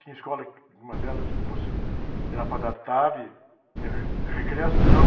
Tinha escola, uma delas, que você ia na parte da tarde, ter re, recriação.